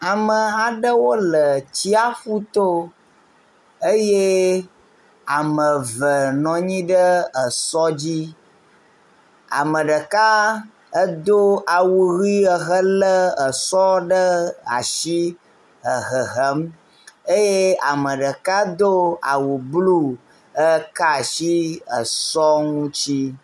Ameha aɖewo le tsiaƒu to eye ame eve nɔ anyi ɖe esɔ dzi. Ame ɖeka edo awu ʋɛ̃ ehelé esɔ ɖe asi le hehem. Ame ɖeka edo awu blu, eka asi esɔ ŋuti.